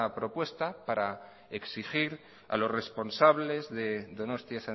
propuesta para exigir a los responsables de donostia